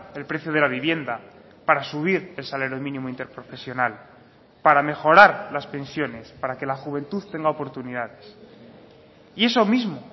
el precio de la vivienda para subir el salario mínimo interprofesional para mejorar las pensiones para que la juventud tenga oportunidades y eso mismo